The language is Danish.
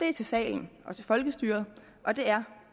er til salen og til folkestyret og det er